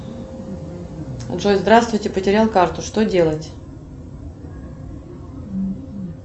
джой здравствуйте потерял карту что делать